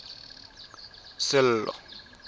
sello